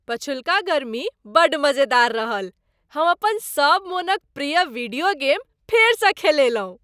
पछिलुक गर्मी बड्ड मजेदार रहल। हम अपन सब मोनक प्रिय वीडियो गेम फेरसँ खेलयलहुँ।